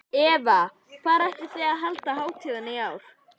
Eva, hvar ætlið þið að halda hátíðina í ár?